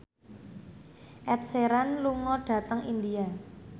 Ed Sheeran lunga dhateng India